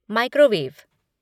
microwave